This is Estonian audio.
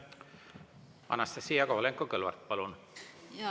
Anastassia Kovalenko-Kõlvart, palun!